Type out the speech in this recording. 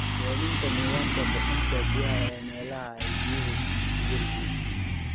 Deminta nidaamka bixinta biyaha ee meelaha ay biyuhu ku yar yihiin.